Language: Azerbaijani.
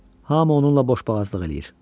Hamı onunla boşboğazlıq eləyir.